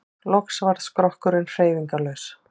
Loks varð skrokkurinn hreyfingarlaus.